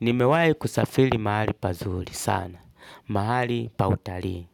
Nimewai kusafili mahali pazuri sana. Mahali pa utarii.